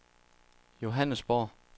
Johannesborg